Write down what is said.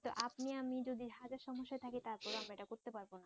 কিন্তু আপনি আমি যদি হাজার সমস্যায় থাকি তারপরও আমরা এটা করতে পারবো না।